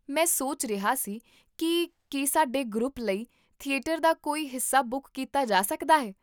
ਮੈਂ ਸੋਚ ਰਿਹਾ ਸੀ ਕੀ ਕੀ ਸਾਡੇ ਗਰੁੱਪ ਲਈ ਥੀਏਟਰ ਦਾ ਕੋਈ ਹਿੱਸਾ ਬੁੱਕ ਕੀਤਾ ਜਾ ਸਕਦਾ ਹੈ